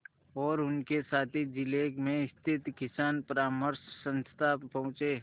और उनके साथी जिले में स्थित किसान परामर्श संस्था पहुँचे